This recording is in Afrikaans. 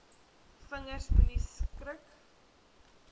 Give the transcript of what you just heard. vingers moenie skrik